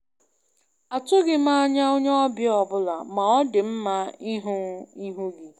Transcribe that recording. atụghị m anya onye ọbịa ọbụla, ma ọ dị mma ịhụ ihu ọma